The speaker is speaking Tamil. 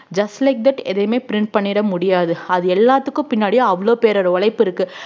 just like that எதையுமே print பண்ணிட முடியாது அது எல்லாத்துக்கும் பின்னாடியும் அவ்வளவு பேரோட உழைப்பு இருக்கு